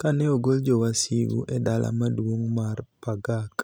Ka ni e ogol jowasigu e dala maduonig mar Pagak,